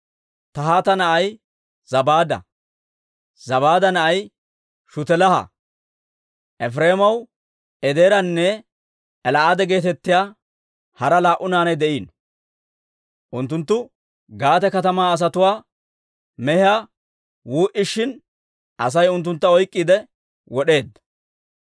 Tahaata na'ay Zabaada; Zabaada na'ay Shutelaaha. Efireemaw Ezeeranne El"aada geetettiyaa hara laa"u naanay de'iino. Unttunttu Gaate katamaa asatuwaa mehiyaa wuu"ishin, Asay unttuntta oyk'k'iide wod'eedda.